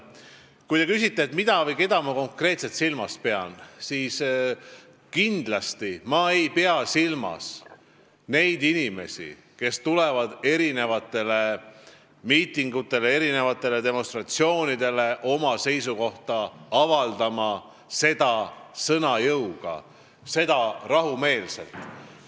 Kui te küsite, mida või keda ma konkreetselt silmas pean, siis kindlasti ma ei pea silmas neid inimesi, kes tulevad miitingutele, demonstratsioonidele oma seisukohta avaldama – sõna jõuga ja rahumeelselt.